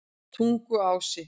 Tunguási